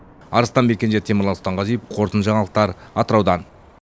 арыстанбек кенже темірлан сұлтанғазиев қорытынды жаңалықтар атыраудан